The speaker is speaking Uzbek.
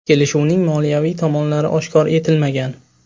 Kelishuvning moliyaviy tomonlari oshkor etilmagan.